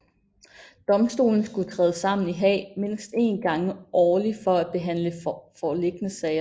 Domstolen skulle træde sammen i Haag mindst en gang årlig for at behandle foreliggende sager